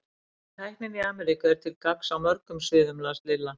En tæknin í Ameríku er til gagns á mörgum sviðum las Lilla.